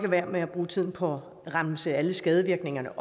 være med at bruge tiden på at remse alle skadevirkningerne